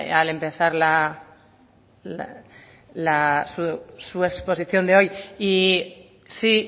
al empezar su exposición de hoy y sí